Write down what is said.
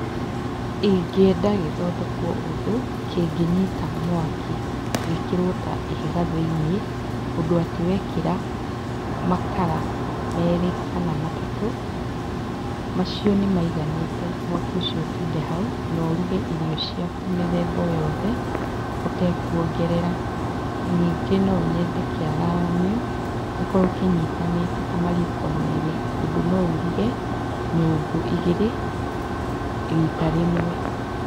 Ingĩenda gĩthondekwo ũndũ kĩngĩnyita mwaki gĩkĩrwo ta ihiga thĩiniĩ, ũndũ atĩ wekĩra makara merĩ kana matatũ, macio nĩmaiganĩte mwaki ũcio ũtinde hau na ũruge irio ciaku mĩthemba o yothe ũtekwongerera. Nyingĩ nonyende kĩararamio gĩkorwo kĩnyitanĩte ta mariko merĩ, ũndũ noũruge nyũngũ igĩrĩ rita rĩmwe.